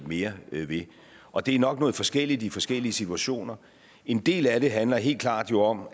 mere ved ved og det er nok noget forskelligt i forskellige situationer en del af det handler helt klart jo om